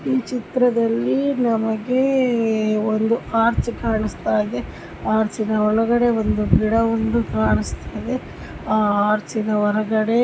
ಈ ಚಿತ್ರದಲ್ಲಿ ನಮಗೆ ಒಂದು ಆರ್ಚ್ ಕಾಣಿಸ್ತಾ ಇದೆ.ಆರ್ಚ್ ಒಳಗಡೆ ಒಂದು ಗಿಡ ಕಾನಿಸ್ತಾಇದೆ ಆರ್ಚ್ ಹೊರಗಡೆ --